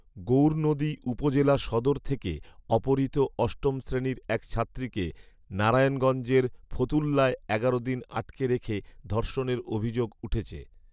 গৌরনদী উপজেলা সদর থেকে অপহৃত অষ্টম শ্রেণির এক ছাত্রীকে নারায়ণগঞ্জের ফতুল্লায় এগারো দিন আটকে রেখে ধর্ষণের অভিযোগ উঠেছে